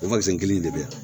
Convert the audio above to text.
O kelen in de bɛ yan